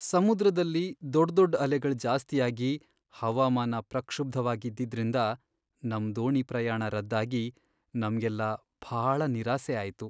ಸಮುದ್ರದಲ್ಲಿ ದೊಡ್ದೊಡ್ ಅಲೆಗಳ್ ಜಾಸ್ತಿಯಾಗಿ ಹವಾಮಾನ ಪ್ರಕ್ಷುಬ್ಧವಾಗ್ ಇದ್ದಿದ್ರಿಂದ ನಮ್ ದೋಣಿ ಪ್ರಯಾಣ ರದ್ದಾಗಿ ನಮ್ಗೆಲ್ಲ ಭಾಳ ನಿರಾಸೆ ಆಯ್ತು.